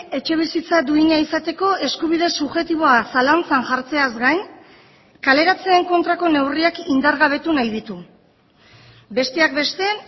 etxebizitza duina izateko eskubide subjektiboa zalantzan jartzeaz gain kaleratzeen kontrako neurriak indargabetu nahi ditu besteak beste